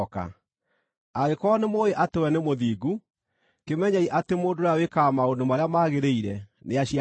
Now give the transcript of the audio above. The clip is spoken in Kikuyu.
Angĩkorwo nĩmũũĩ atĩ we nĩ mũthingu, kĩmenyei atĩ mũndũ ũrĩa wĩkaga maũndũ marĩa magĩrĩire nĩaciarĩtwo nĩwe.